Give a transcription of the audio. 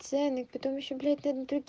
цены потом ещё блядь над